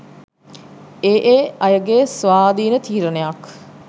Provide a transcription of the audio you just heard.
ඒ ඒ අයගේ ස්වාධීන තීරණයක්.